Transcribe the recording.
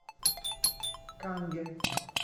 канге